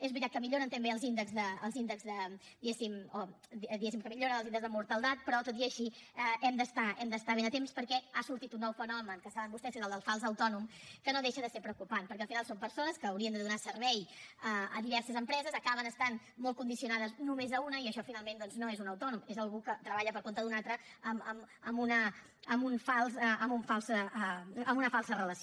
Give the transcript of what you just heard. és veritat que milloren també els índexs de diguéssim mortaldat però tot i així hem d’estar ben atents perquè ha sortit un nou fenomen que saben vostès que és el del fals autònom que no deixa de ser preocupant perquè al final són persones que haurien de donar servei a diverses empreses acaben estant molt condicionades només a una i això finalment doncs no és un autònom és algú que treballa per compte d’un altre amb una falsa relació